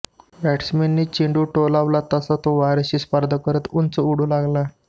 बॅटसमनने चेंडू टोलावला तसा तो वार्याशी स्पर्धा करत उंच उडू लागला